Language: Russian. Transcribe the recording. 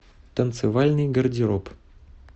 танцевальный гардероб